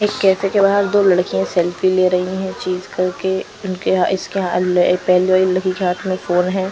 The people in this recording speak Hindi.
एक कहते के बाहर दो लड़कियां सेल्फी ले रही है चीज करके उनके ह इसके ह पहली वाली लड़की के हाथ में फोन है।